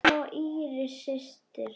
Mamma og Íris systir.